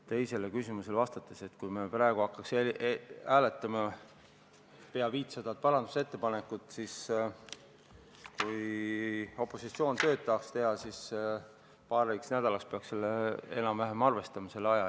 Teisele küsimuse poolele vastates ütlen, et kui me praegu hakkaksime hääletama peaaegu 500 parandusettepanekut, siis juhul, kui opositsioon tööd tahaks teha, peaks arvestama enam-vähem paari nädalaga.